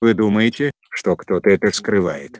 вы думаете что кто-то это скрывает